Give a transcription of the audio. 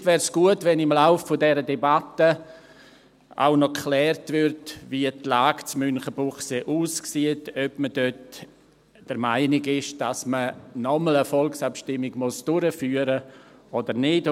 Vielleicht wäre es gut, wenn im Verlauf dieser Debatte auch geklärt würde, wie die Lage in Münchenbuchsee aussieht, ob man dort der Meinung ist, dass man noch einmal eine Volksabstimmung durchführen muss oder nicht.